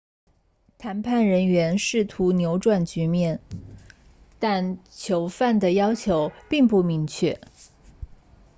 谈判人员试图扭转局面但囚犯的要求并不明确